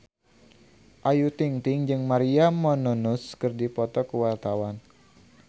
Ayu Ting-ting jeung Maria Menounos keur dipoto ku wartawan